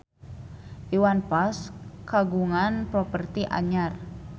Iwan Fals kagungan properti anyar